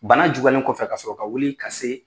Bana juguyalen kɔfɛ ka sɔrɔ ka wuli ka se